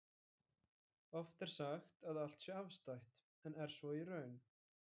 Oft er sagt að allt sé afstætt, en er svo í raun?